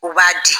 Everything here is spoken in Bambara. U b'a di